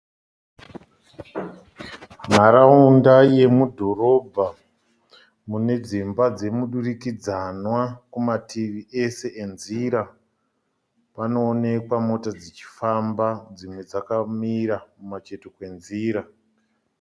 Nharaunda yemudhorobha, mune dzimba dzemudurikidzanwa kumativi ese enzira. Panoonekwa mota dzichifamba dzimwe dzakamira kumacheto kwenzira.